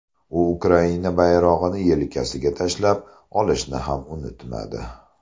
U Ukraina bayrog‘ini yelkasiga tashlab olishni ham unutmadi.